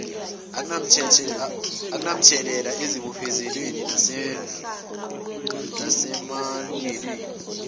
akunamthelela ezibophezelweni nasemalungelweni